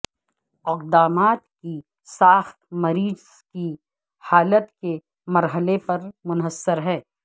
اقدامات کی ساخت مریض کی حالت کے مرحلے پر منحصر ہے